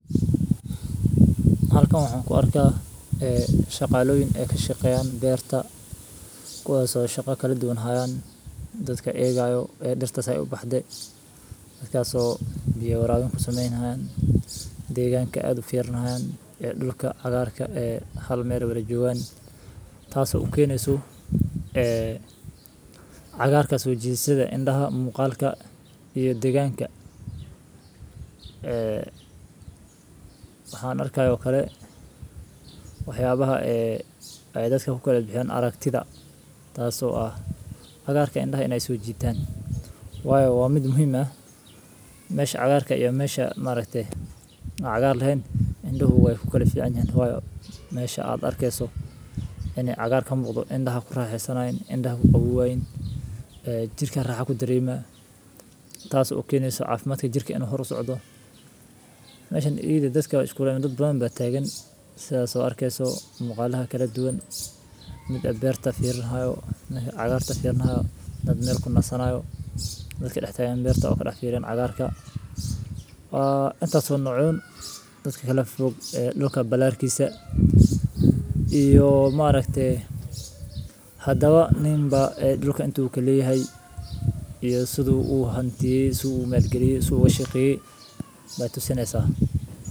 Halkaan wuxuun ku arkaa ee shaqaaloyin ee ka shaqeeyaan beerta. Kuwaaso shaqo keli duwan haayaan dadka eegayo ee dhirta sa eey u baxdey. Taasoo biyo raadin ku sameyn haayaan deegaanka aad u fiirin haayaan ee dhulka cagaarka ee hal meel u isticmaalo, taasoo u keenayso ee cagaarka suujiisada indhaha muuqaalka iyo deegaanka. Eh haana arkay u karey waxyaabaha ee ay adagka ku keli fiican aragtida. Taasoo ah cagaarka indhaha iney suujiiteen. Waayo waa mid muhiima meesha cagaarka iyo meesha ma reegte cagaar leh. Indhu hubi ku keli fiicanyahan waayo meesha aad arkaayso inee cagaarkan boqdo, indhaha ku raaxo sanaayn, indhaha ku quwaa in ee jirka raaxa ku diriyme. Taas oo u keenayso caafimaadka jirka in hor u socdo. Ma shan idin adagga iskuulay madad buu baah taageen sa so arkaayso muuqaalaha keli duwan mid abeerta fiirin haayo meesha cagaarta fiirin haayo dad meel ku nasanaayo. Dadka dhexe taageen beerta oo kala fiirin cagaarka. Ah inta soo noocoon dadka kala fog ee dhulka ballaarkiisa iyo ma reegte hadaba ninba ee dhulka intuu keli hay iyo siduu u hanti suu u meel geli suub way shaqey bay tu sanaysa.